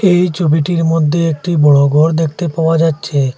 এই ছবিটির মধ্যে একটি বড়ো গর দেখতে পাওয়া যাচ্ছে।